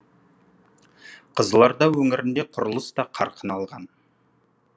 қызылорда өңірінде құрылыс та қарқын алған